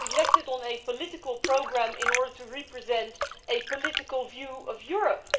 I was elected on a political programme in order to represent a political view of Europe.